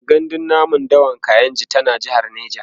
gandun namun dawan kainji tana jehar neja